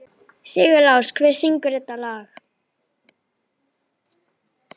Sigurlás, hver syngur þetta lag?